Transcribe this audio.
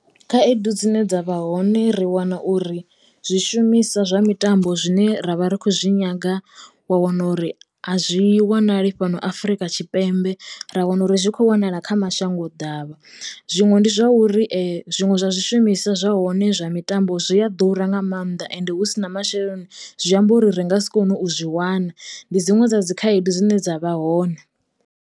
Khaedu dzine dzavha hone ri wana uri zwi shumisa zwa mitambo zwine ra vha ri khou zwi nyaga wa wana uri a zwi wanali fhano Afrika Tshipembe ra wana uri zwi kho wanala kha mashango ḓavha zwiṅwe ndi zwauri zwiṅwe zwa zwishumiswa zwa hone zwa mitambo zwi a ḓura nga mannḓa ende hu si na masheleni zwi amba uri ri nga si kone u zwi wana ndi dziṅwe dza dzi khaedu dzine dza vha hone.